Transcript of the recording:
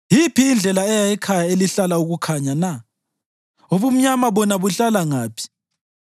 Yiphi indlela eya ekhaya elihlala ukukhanya na? Ubumnyama bona buhlala ngaphi?